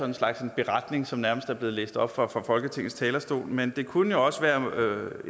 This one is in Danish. en slags beretning som er blevet læst op fra folketingets talerstol men det kunne jo også være